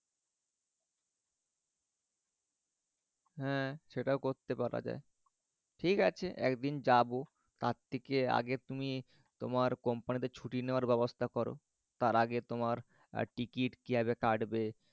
।হ্যা সেটাও করতে পাড়া যায়। ঠিক আছে একদিন যাবো তার থেকে আগে তুমি তোমার কোম্পানিতে ছুটি নেওয়ার ব্যবস্থা করো তার আগে তোমার আর টিকিট কি করে কাটবে